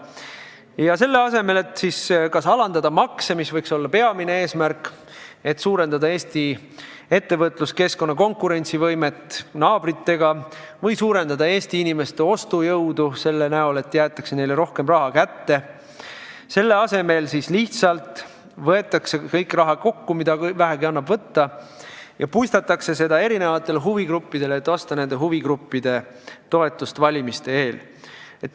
Aga selle asemel, et kas alandada makse, mis võiks olla peamine eesmärk, et Eesti ettevõtluskeskkonna konkurentsivõime oleks parem, või suurendada Eesti inimeste ostujõudu sel moel, et jäetakse neile rohkem raha kätte, lihtsalt võetakse kokku kogu raha, mida vähegi annab võtta, ja puistatakse seda erinevatele huvigruppidele, et osta nende toetust valimiste eel.